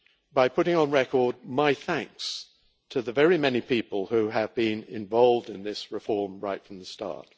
by putting on record my thanks to the many people who have been involved in this reform right from the start.